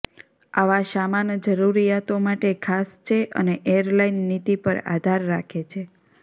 આવા સામાન જરૂરિયાતો માટે ખાસ છે અને એરલાઇન નીતિ પર આધાર રાખે છે